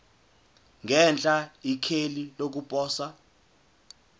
ngenhla ikheli lokuposa